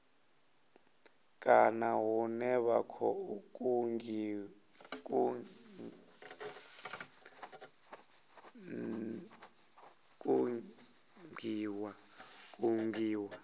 kana hune vha khou kungiwa